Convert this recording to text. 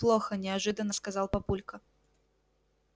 плохо неожиданно сказал папулька